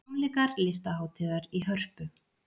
Tónleikar Listahátíðar í Hörpu